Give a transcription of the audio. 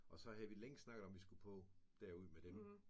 Og så havde vi længe snakket om at vi skulle på derud med dem